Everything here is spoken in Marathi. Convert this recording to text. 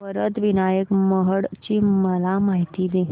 वरद विनायक महड ची मला माहिती दे